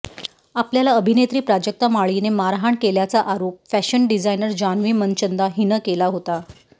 आपल्याला अभिनेत्री प्राजक्ता माळीने मारहाण केल्याचा आरोप फॅशन डिझायनर जान्हवी मनचंदा हिनं केला होता